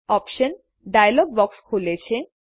options dialog box ખુલે છે